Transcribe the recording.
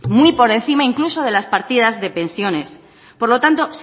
muy por encima incluso de las partidas de pensiones por lo tanto